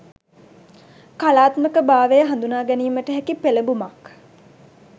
කලාත්මක භාවය හඳුනාගැනීමට හැකි පෙළඹුමක්